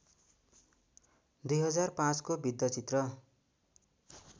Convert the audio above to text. २००५ को वृत्तचित्र